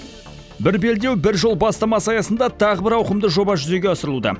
бір белдеу бір жол бастамасы аясында тағы бір ауқымды жоба жүзеге асырылуда